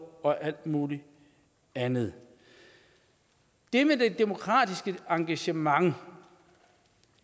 og alt muligt andet det med det demokratiske engagement